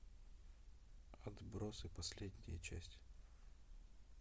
отбросы последняя часть